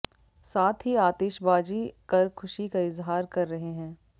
साथ ही आतिशबाजी कर खुशी का इजहार कर रहे हैं